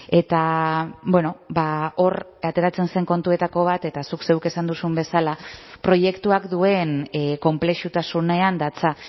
eta hor ateratzen zen kontuetako bat eta zuk zeuk esan duzun bezala proiektuak duen konplexutasunean datza